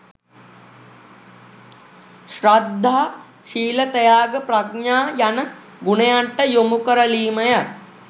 ශ්‍රද්ධා ශීල ත්‍යාග ප්‍රඥා යන ගුණයන්ට යොමුකරලීමය